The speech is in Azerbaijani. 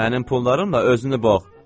Mənim pullarımla özünü boğ.